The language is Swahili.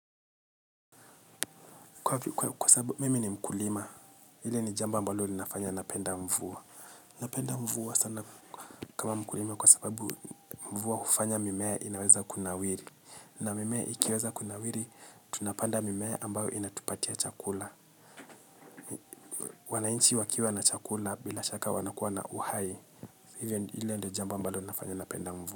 Kwa sababu mimi ni mkulima, ile ni jambo ambalo linafanya na mpenda mvua. Napenda mvua sana kama mkulima kwa sababu mvua ufanya mimea inaweza kunawiri. Na mimea ikiweza kunawiri, tunapanda mimea ambayo inatupatia chakula. Wanainchi wakiwa na chakula bila shaka wanakuwa na uhai. Hile ndio jambo ambalo linafanya napenda mvua.